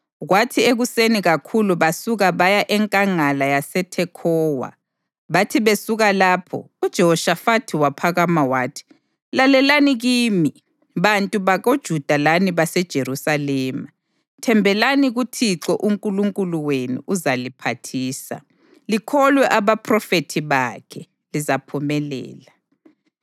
Kwathi ekuseni kakhulu basuka baya eNkangala yaseThekhowa. Bathi besuka lapho, uJehoshafathi waphakama wathi, “Lalelani kimi, bantu bakoJuda lani baseJerusalema! Thembelani kuThixo uNkulunkulu wenu uzaliphathisa; likholwe abaphrofethi bakhe, lizaphumelela.”